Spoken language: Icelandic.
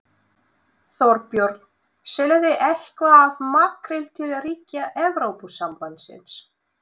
Þorbjörn: Seljið þið eitthvað af makríl til ríkja Evrópusambandsins?